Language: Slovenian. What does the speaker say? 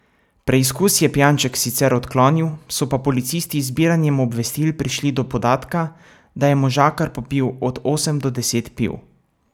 Preizkus je pijanček sicer odklonil, so pa policisti z zbiranjem obvestil prišli do podatka, da je možakar popil od osem do deset piv.